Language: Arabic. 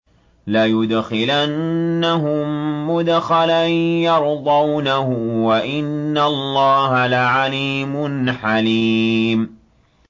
لَيُدْخِلَنَّهُم مُّدْخَلًا يَرْضَوْنَهُ ۗ وَإِنَّ اللَّهَ لَعَلِيمٌ حَلِيمٌ